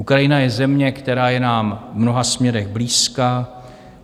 Ukrajina je země, která je nám v mnoha směrech blízká.